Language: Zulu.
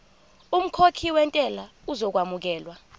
umkhokhi wentela uzokwamukelwa